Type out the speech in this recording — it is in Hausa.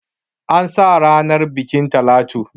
An sa ranar bukin Talatu.